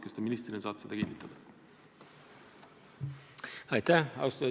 Kas te ministrina saate seda kinnitada?